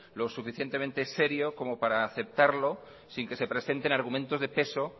lo suficientemente serio como para aceptarlo sin que se presenten argumentos de peso